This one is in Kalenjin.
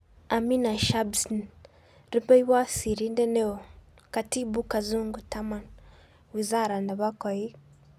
Amina Shabssn. Rupeiywot sirindet neoo-Khatibu Kazungu 10. Wizara nepo koik